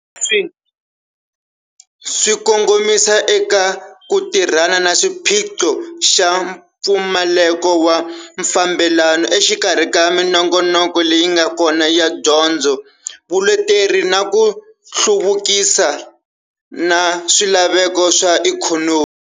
Leswi swi kongomisa eka ku tirhana na xiphiqo xa mpfumaleko wa mfambelano exikarhi ka minongonoko leyi nga kona ya dyondzo, vuleteri na ku hluvukisa na swilaveko swa ikhonomi.